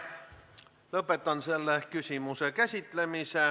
Lõpetan selle küsimuse käsitlemise.